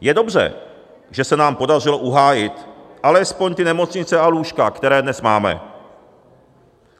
Je dobře, že se nám podařilo uhájit alespoň ty nemocnice a lůžka, které dnes máme.